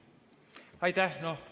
Aitäh!